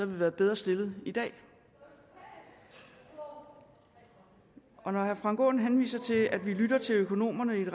vi være bedre stillet i dag når herre frank aaen henviser til at vi lytter til økonomerne